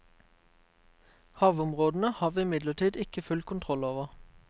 Havområdene har vi imidlertid ikke full kontroll over.